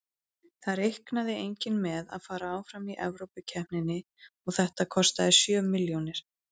Það reiknaði enginn með að fara áfram í Evrópukeppninni og þetta kostaði sjö milljónir.